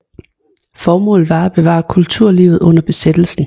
Formålet var at bevare kulturlivet under besættelsen